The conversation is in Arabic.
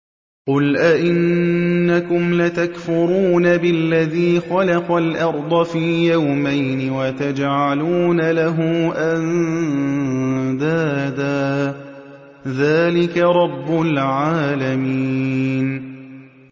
۞ قُلْ أَئِنَّكُمْ لَتَكْفُرُونَ بِالَّذِي خَلَقَ الْأَرْضَ فِي يَوْمَيْنِ وَتَجْعَلُونَ لَهُ أَندَادًا ۚ ذَٰلِكَ رَبُّ الْعَالَمِينَ